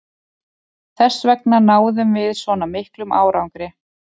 Þessvegna náðum við svona miklum árangri.